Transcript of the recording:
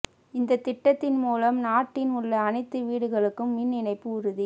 இந்த திட்டத்தின் மூலம் நாட்டின் உள்ள அனைத்து வீடுகளுக்கும் மின் இணைப்பு உறுதி